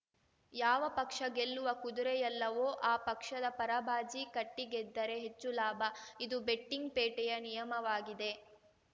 ಯಾವ ಪಕ್ಷ ಗೆಲ್ಲುವ ಕುದುರೆಯಲ್ಲವೋ ಆ ಪಕ್ಷದ ಪರ ಬಾಜಿ ಕಟ್ಟಿಗೆದ್ದರೆ ಹೆಚ್ಚು ಲಾಭ ಇದು ಬೆಟ್ಟಿಂಗ್‌ ಪೇಟೆಯ ನಿಯಮವಾಗಿದೆ